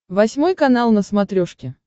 восьмой канал на смотрешке